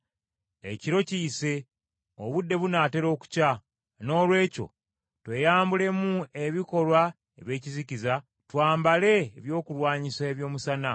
Ekiro kiyise, obudde bunaatera okukya, noolwekyo tweyambulemu ebikolwa eby’ekizikiza, twambale ebyokulwanyisa eby’omusana.